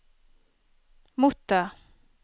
motta